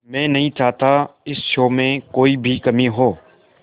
मैं नहीं चाहता इस शो में कोई भी कमी हो